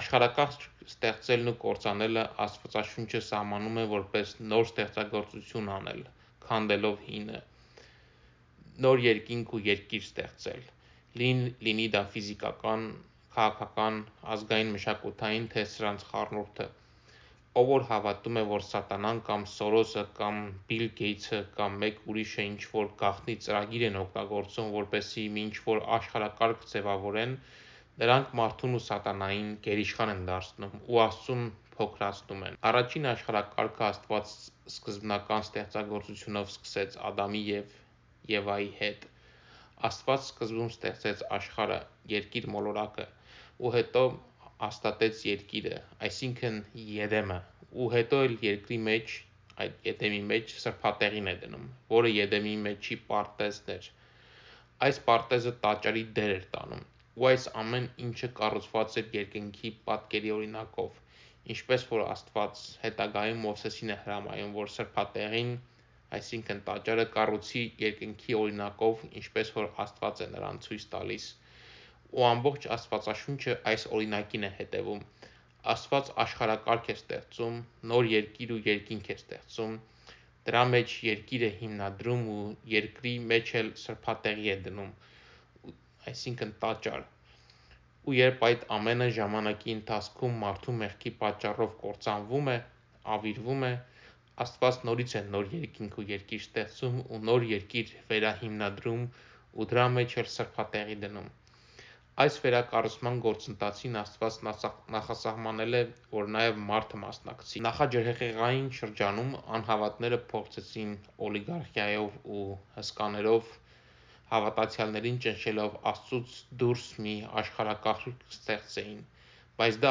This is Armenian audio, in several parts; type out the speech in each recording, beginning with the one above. Աշխարհակարգ ստեղծելն ու կործանելը Աստվածաշունչը սահմանում է որպես նոր ստեղծագործություն անել (քանդելով հինը), նոր երկինք ու երկիր ստեղծել, լինի դա ֆիզիկական, քաղաքական, ազգային, մշակութային թէ սրանց խառնուրդը: Ով որ հավատում է որ Սատանան կամ Սորոսը կամ Բիլ Գեյթսը կամ մեկ ուրիշը ինչ որ գաղտնի ծրագիր են իրագործում որպեսզի մի ինչ որ աշխարհակարգ ձևավորեն նրանք մարդուն ու Սատանային գերիշխան են դարձնում ու Աստծուն փոքրացնում են: Առաջին աշխարհակարգը Աստված սկզբնական ստեղծագործությունով սկսեց Ադամի և Եվայի հետ: Աստված սկզբում ստեղծեց աշխարհը, երկիր մոլորակը, ու հետո հաստատեց երկիրը՝ այսինքն Եդեմը, ու հետո էլ երկրի մեջ սրբատեղին է դնում, որը Եդեմի մեջի պարտեզն էր, այս պարտեզը տաճարի դեր էր տանում, ու այս ամեն ինչը կառուցված էր երկնքի պատկերի օրինակով, ինչպես որ Աստված Մովսեսին է հրամայում որ սրբատեղին, տաճարը կառուցի երկնքի օրինակով ինչպես որ Աստված է նրան ցույց տալիս: Ու ամբողջ Աստվածաշունչը այս օրինակին է հետևում: Աստված աշխարհակարգ է ստեղծում, նոր երկիր ու երկինք է ստեղծում, դրա մեջ երկիր է հիմնադրում ու երկրի մեջ էլ սրբատեղի է դնում, ու, երբ այդ ամենը ժամանակի ընթացքում մարդու մեղքի պատճառով կործանվում է, ավիրվում է, Աստված նորից է նոր երկինք ու երկիր ստեղծում ու նոր երկիր վերահիմնադրում ու դրա մեջ էլ սրբատեղի դնում: Այս վերակառուցման գործընթացին Աստված նախասահմանել է որ նաև մարդը մասնակցի: Նախաջրհեղեղային շրջանում անհավատները փորձեցին օլիգարխիայով ու հսկաներով հավատացյալներին ճնշելով Աստծուց դուրս մի աշխարհակարգ ստեղծեին բայց դա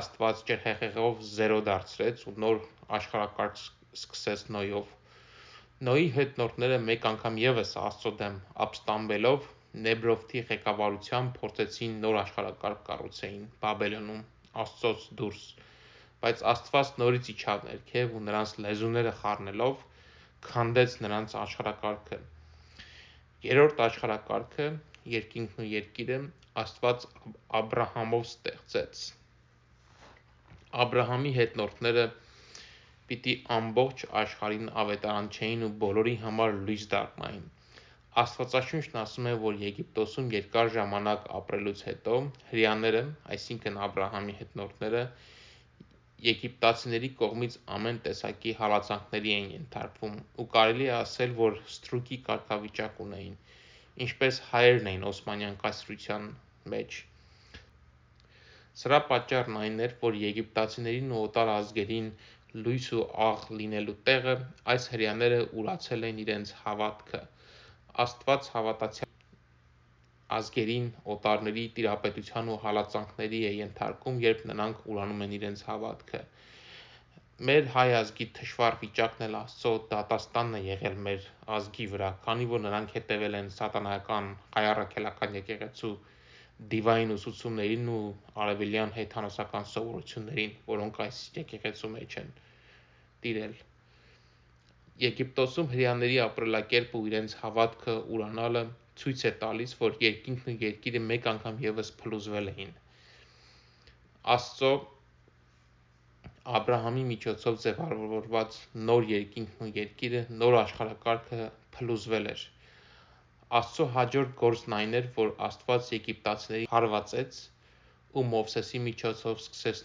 Աստված ջրհեղեղով զերո դարձրեց ու նոր աշխարհակարգ սկսեց Նոյով: Նոյի հետնորդները մեկ անգամ ևս Աստծո դեմ ապստամբելով Նեբրովթի ղեկավարությամբ փորձեցին նոր աշխարհակարգ կառուցեին Բաբելում, բայց Աստված նորից իջավ ներքև ու նրանց լեզուները խառնելով քանդեց նրանց աշխարհակարգը: Երրորդ աշխարհակարգը (երկինքն ու երկիրը) Աստված Աբրահամով սկսեց ստեղծել: Աբրահամի հետնորդները պիտի ամբողջ աշխարհին ավետարանչեին ու բոլորի համար լույս դառնային: Աստվածաշունչն ասում է որ Եգիպտոսում երկար ժամանակ ապրելուց հետո հրեաներըԵգիպտացիների կողմից ամեն տեսակի հալածանքների էին ենթարկվում ու կարելի է ասել որ ստրուկի կարգավիճակ ունեին (ինչպես հայերն էին Օսմանյան կայսրության մեջ): Սրա պատճառն այն էր որ եգիպտացիներին ու օտար ազգերին լույս ու աղ լինելու տեղը այս հրեաները ուրացել էին իրենց հավատքը: Աստված հավատացյալ ազգերին օտարների տիրապետության ու հալածանքներին է ենթարկում երբ նրանք ուրանում են իրենց հավատքը: (Հայ ազգի թշվառ վիճակն էլ Աստծո դատաստանն է եղել մեր ազգի վրա, քանի որ նրանք հետևել են Սատանայական Հայ Առաքելական եկեղեցու դիվային ուսուցումներին ու արևելյան հեթանոսական սովորություններին): Եգիպտոսում հրեաների ապրելակերպը ու իրենց հավատքը ուրանալը ցույց էր տալիս որ երկինքն ու երկիրը մեկ անգան ևս փլուզվել էին: Աստծո, Աբրահամի միջոցով ձևավորած նոր երկիրն ու երկինքը, նոր աշխարհակարգը փլուզվել էր: Աստծո հաջորդ գործն այն էր որ Աստված եգիպտացիներին հարվածեց ու Մովսեսի միջոցով սկսեց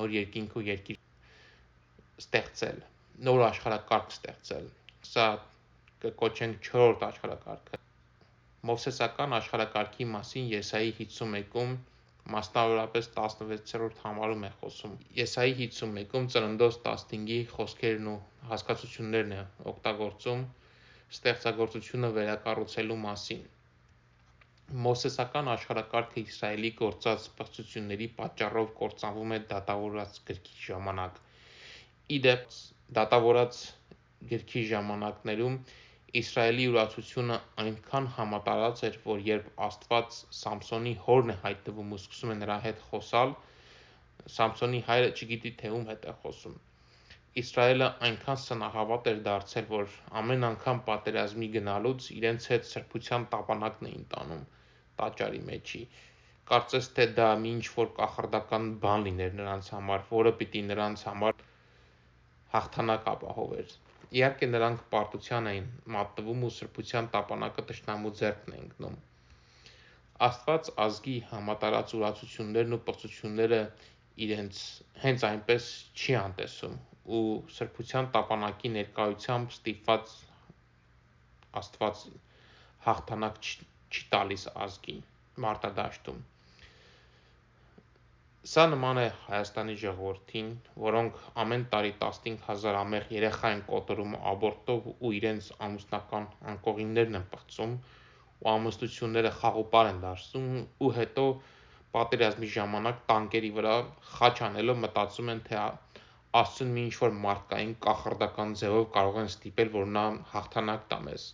նոր երկինք ու երկիր ստեղծել, նոր աշխարհակարգ ստեղծել (չորրորդ աշխարհակարգը): Մովսեսական աշխարհակարգի մասին Եսայի 51-ուն, մասնավորապես 16-րդ համարում է խոսում: Եսայի 51-ում Ծննդոց 15-ի խոսքերն ու հասկացություններն է օգտագործում, ստեղծագործությունը վերակառուցելու մասին: Մովսեսական աշխարհակարգը Իսրայելի գործած պղծությունների պատճառով կործանվում էԴատավորաց գրքի ժամանակ: Ի դեպ դատավորաց ժամանակ Իսրայելի ուրացությունը այնքան համատարած էր որ երբ Աստված Սամսոնի հորն է հայտնվում ու սկսում է նրա հետ խոսալ նա չգիտի թէ ում հետ է խոսում: Իսրայելը այնքան սնահավատ էր դարձել որ ամեն անգամ պատերազմի գնալուց իրենց հետ սրբության տապանակն էին տանում, կարծես թէ դա մի ինչ որ կախարդական բան լիներ նրանց համար որը պիտի նրանց համար հաղթանակ ապահովեր: Իհարկե նրանք պարտության են մատնվում ու սրբության տապանակը թշնամու ձեռքն է ընկնում: Աստված ազգի համատարած ուրացություններն ու պղծությունները հենց այնպես չի անտեսում ու սրբության տապանակի ներկայությամբ ստիպված հաղթանակ տալիս ազգին մարտադաշտում: Սա նման է Հայաստանի ժողովրդին, որոնք ամեն տարի 15 հազար անմեղ երեխա են կոտորում աբորտով ու իրանց ամուսնական անկողիններն են պղծում ու ամուսնությունները խաղ ու պար են դարձնում ու հետո պատերազմի ժամանակ տանկերի վրա խաչ անելով մտածում են թէ Աստծուն մի ինչ որ մարդկային կախարդական ձևով կարող են ստիպել որ նա հաղթանակ տա մեզ: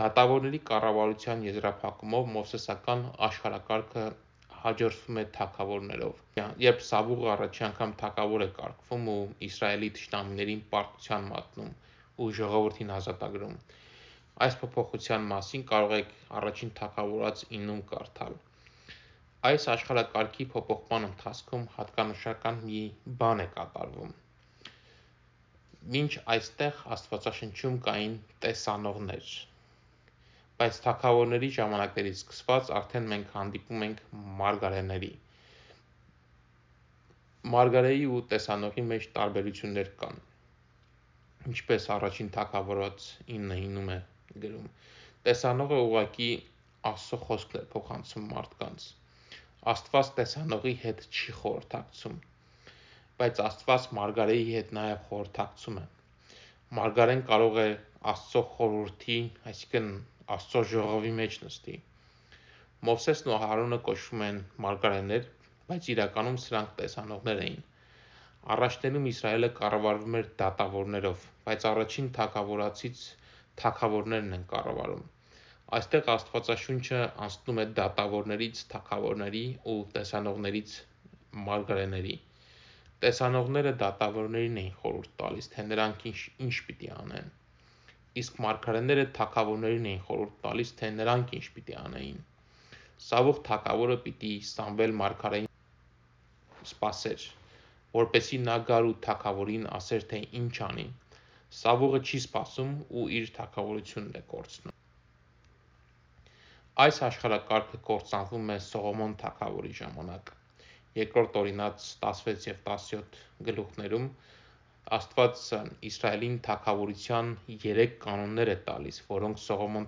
Դատավորների կառավարության եզրափակումով Մովսեսական աշխարհակարգը հաջորդվում է Թագավորներով, երբ Սավուղը թագավոր է կարգվում ու սկսում է Իսրաելի թշնամիներին պարտության մատնել ու ժողովրդին ազատագրել: Այս փոփոխության մասին կարող եք 1 Թագ 9-ում կարդալ: Այս աշխարհակարգի փոփոխման ընթացքում հատկանշական մի բան է կատարվում: Մինչ այստեղ Աստվածաշնչում կային Տեսանողներ, բայց Թագավորների ժամանակներից սկսված արդեն մենք հանդիպում ենք Մարգարեների: Մարգարեի ու Տեսանողի մեջ տարբերություններ կան (1 Թագ 9:9): Տեսանողը ուղղակի Աստծո խոսքն էր փոխանցում մարդկանց, Աստված Տեսանողի հետ չի խորհրդակցում: Բայց Աստված Մարգարեի հետ նաև խորհրդակցում է: Մարգարեն կարող էԱստծո խորուրդի (ժողովի) մեջ նստի: Մովսեսն ու Ահարոնը կոչվում են մարգարեներ բայց իրականում սրանք Տեսանողներ էին: Առաջներում Իսրայելը կառավարվում էր դատավորներով, բայց 1 Թագավորացից Թագավորներն են կառավարում: Այստեղ Աստվածաշունչը անցնում է դատավորներից թագավորների ու տեսանողներից մարգարեների: Տեսանողները դատավորներին են խորհուրդ տալիս թէ նրանք ինչ պիտի անեն, իսկ մարգարեները թագավորներին էին խորհուրդ տալիս թէ նրանք ինչ պիտի անեին: Սավուղ թագավորը պիտի Սամվել մարգարեին սպասեր, որպեսզի նա գար ու թագավորին ասեր թէ ինչ անի, Սավուղը չի սպասում ու իր թագավորությունն է կորցնում: Այս աշխարհակարգը կործանվում է Սողոմոն թագավորի ժամանակ: 2 Օրինաց 16-17-ում Աստված Իսրայելին թագավորության 3 կանոններ է տալիս որոնք Սողոմոն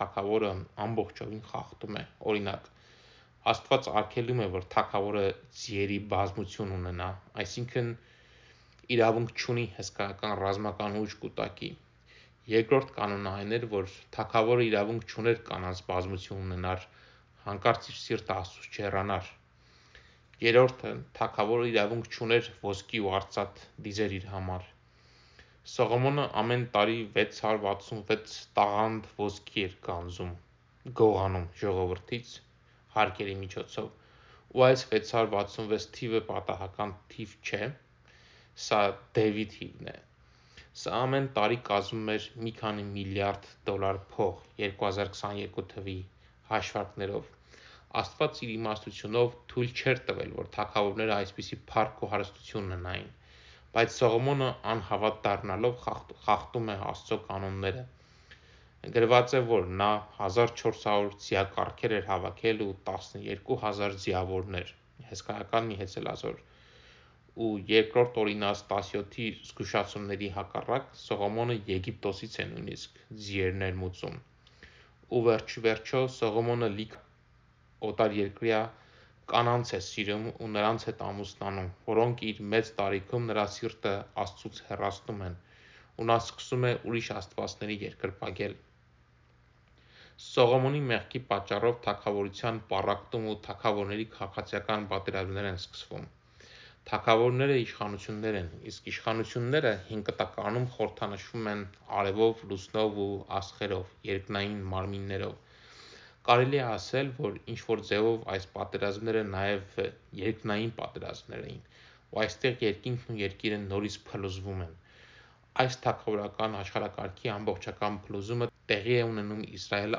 թագավորը խախտում է: Աստված արգելում է որ թագավորը զիերի բազմություն ունենա, այսինքն, իրավունք չունի հսկայական ռազմական ուժ կուտակելի: թագավորը իրավունք չունի կանանց բազմություն ունենա որ հանկարծ իր սիրտը Աստծուց չհեռանա: թագավորը իրավունք չունի ոսկի ու արծաթ դիզի իր համար: Սողոմոնը ամեն տարի 666 տաղանդ ոսկի էր գանձում (գողանում) ժողովրդից, ու այս 666 թիվը պատահական թիվ չէ, սա դևի թիվն է: Սա ամեն տարի կազմում էր մի քանի միլիարդ դոլար փող, 2022 թվերով: Աստված Իր իմաստությունով թույլ չէր տվել որ թագավորները այսպիսի փառք ու հարստություն ունենային, բայց Սողոմոնը անհավատ դառնալով խախտում է Աստծո կանոնները: Նա 1400 ձիակառքեր էր հավաքել ու 12.000 ձիավորներ: Ու 2 Օրինաց 17-ի զգուշացումների հակառակ Սողոմոնը Եգիպտոսից է ձիեր ներմուծում: Ու վերջիվերջո, Սողոմոնը լիքը օտարերկրյա կանանց է սիրում ու նրանց հետ ամուսնանում որոնք իր մեծ տարիքում նրա սիրտը Աստծուց հեռացնում են, ու նա սկսում է ուրիշ աստվածների երկրպագել: Սողոմոնի մեղքի պատճառով թագավորության պառակտում ու թագավորների քաղաքացիական պատերազմներ են սկսվում: Թագավորները իշխանություններ են, իսկ իշխանությունները Հին Կտակարանում խորհրդանշվում են արևով, լուսնով ու աստղերով, երկնային մարմիններով: Կարելի է ասել, որ ինչ որ ձևով այս պատերազմները նաև երկնային պատերազմներ են, ու այստեղ երկինքն ու երկիրը նորից փլուզվում են: Այս թագավորական աշխարհակարգի ամբողջական փլուզումը տեղի է ունենում Իսրայել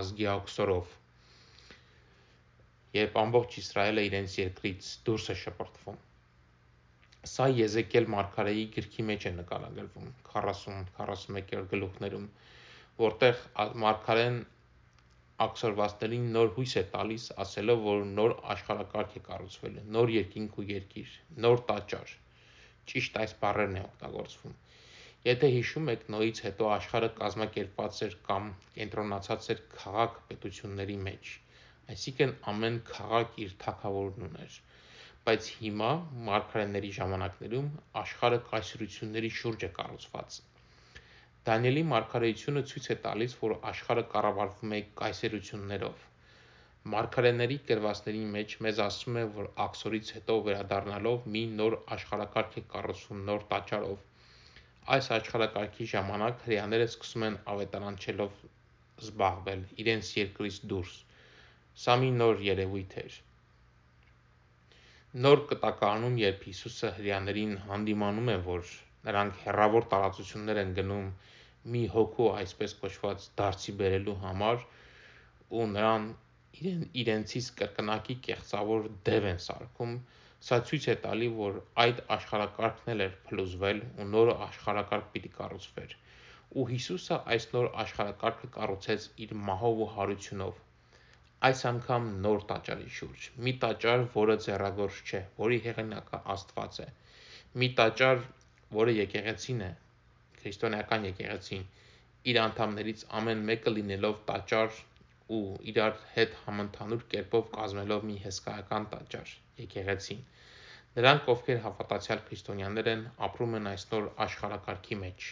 ազգի աքսորով: Սա Եզեկիել մարգարեի գրքի մեջ է նկարագրվում: 40-41-րդ գլխի մեջ մարգարեն աքսորվածներին նոր հույս է տալիս ասելով որ նոր աշխարհակարգ է կառուցվելու, նոր երկինք ու երկիր, նոր տաճար: Եթե հիշում եք Նոյից հետո աշխարհը կազմակերպված էր կամ կենտրոնացած էր քաղաք-պետությունների մեջ, ամեն քաղաք իր թագավորն ուներ, բայց հիմա, մարգարեների ժամանակներում աշխարհը կայսրությունների շուրջ է կառուցված: Դանիելի մարգարեությունը ցույց է տալիս որ աշխարհը կառավարվում է կայսերություններով: Մարգարեների գրվածների մեջ մեզ ասվում է որ աքսորից հետո վերադառնալով մի նորաշխարհակարգ է կառուցվում նոր տաճարով: Այս աշխարհակարգի ժամանակ հրեաները սկսում են ավետարանչելով զբաղվել իրենց երկրից դուրս, Նոր Կտակարանում երբ Հիսուսը հրեաներին հանդիմանում է որ նրանք հեռավոր տարածություններ են գնում մի հոգու այսպես կոչված դարձի բերելու համար ու նրան իրենցից կրկնակի կեղծավոր դև են սարքում, սա ցույց է տալիս որ այդ աշխարհակարգն էլ էր փլուզվել ու նոր աշխարհակարգ պիտի կառուցվեր, ու Հիսուսը այս նոր աշխարհակարգը կառուցեց իր մահով ու հարությունով, այս անգամ նոր Տաճարի շուրջ, մի տաճար որը ձեռագործ չէ, որի հեղինակը Աստված է: Մի տաճար որը եկեղեցին է, իր անդամներից ամեն մեկը լինելով տաճար ու իրար հետ համընդհանուր կերպով կազմելով մի հսկայական տաճար, եկեղեցին: Նրանք ովքեր հավատացյալ քրիստոնյաներ են ապրում են այս նոր աշխարհակարգի մեջ: